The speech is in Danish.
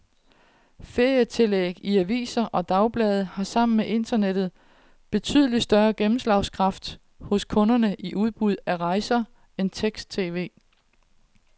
Ferietillæg i aviser og dagblade har sammen med internettet betydelig større gennemslagskraft hos kunderne i udbud af rejser end tekst-tv.